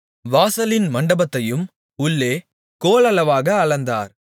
வாசலின் மண்டபத்தையும் உள்ளே கோலளவாக அளந்தார்